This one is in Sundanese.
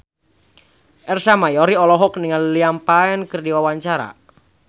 Ersa Mayori olohok ningali Liam Payne keur diwawancara